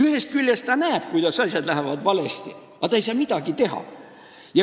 Ühest küljest ta näeb, et asjad lähevad valesti, aga ta ei saa midagi teha.